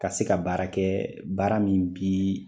Ka se ka baara kɛ, baara min bi